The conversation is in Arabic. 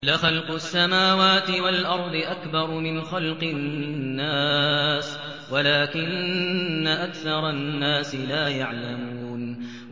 لَخَلْقُ السَّمَاوَاتِ وَالْأَرْضِ أَكْبَرُ مِنْ خَلْقِ النَّاسِ وَلَٰكِنَّ أَكْثَرَ النَّاسِ لَا يَعْلَمُونَ